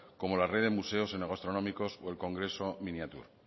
como la red de museos enogastronómicos o el congreso miniature